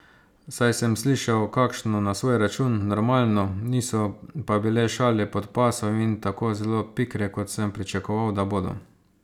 Saj sem slišal kakšno na svoj račun, normalno, niso pa bile šale pod pasom in tako zelo pikre, kot sem pričakoval, da bodo.